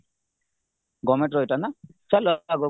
governmentର ଏଇଟା ନା ଚାଲ ଆଗକୁ